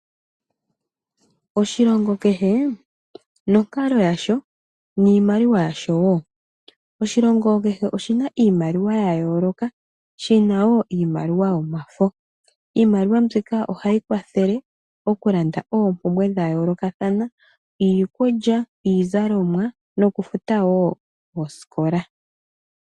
Oshilongo kehe nonkalo yasho niimaliwa yasho woo. Oshilongo kehe oshina iimaliwa yayooloka, shina woo iimaliwa yomafo. Iimaliwa mbika ohayi kwathele okulanda oompumbwe dhayoolokathana iikulya, iizalomwa nokufuta woo oosikola.